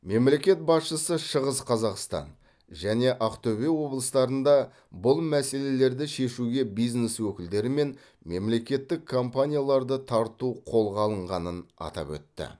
мемлекет басшысы шығыс қазақстан және авқтөбе облыстарында бұл мәселелерді шешуге бизнес өкілдері мен мемлекеттік компанияларды тарту қолға алынғанын атап өтті